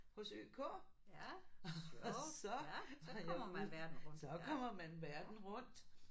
Hos ØK og så var jeg ude så kommer man verden rundt